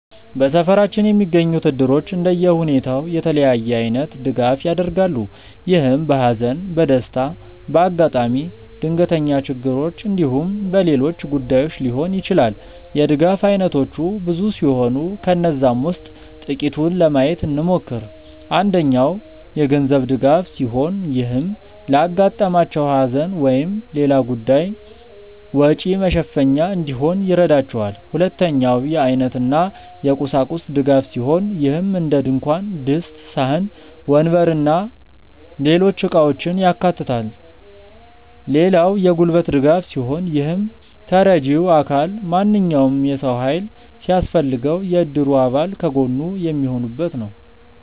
በሰፈራችን የሚገኙት እድሮች እንደየሁኔታው የተለያየ አይነት ድጋፍ ያደርጋሉ። ይህም በሃዘን፣ በደስታ፣ በአጋጣሚ ድንገተኛ ችግሮች እንዲሁም በሌሎች ጉዳዮች ሊሆን ይችላል። የድጋፍ አይነቶቹ ብዙ ሲሆኑ ከነዛም ውስጥ ጥቂቱን ለማየት እንሞክር። አንደኛው የገንዘብ ድጋፍ ሲሆን ይህም ለአጋጠማቸው ሃዘን ወይም ሌላ ጉዳይ ወጪ መሸፈኛ እንዲሆን ይረዳቸዋል። ሁለተኛው የአይነት እና የቁሳቁስ ድጋፍ ሲሆን ይህም እንደድንኳን ድስት፣ ሳህን፣ ወንበር እና ሌሎች እቃውችን ያካታል። ሌላው የጉልበት ድጋፍ ሲሆን ይህም ተረጂው አካል ማንኛውም የሰው ሃይል ሲያስፈልገው የእድሩ አባል ከጎኑ የሚሆኑበት ነው።